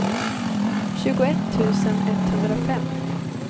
tjugoett tusen etthundrafem